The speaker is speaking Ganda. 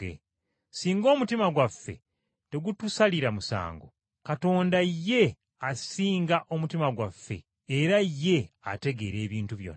Singa omutima gwaffe tegutusalira musango, Katonda ye asinga omutima gwaffe era ye ategeera ebintu byonna.